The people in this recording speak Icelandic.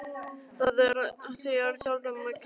Það er þér sjálfum að kenna.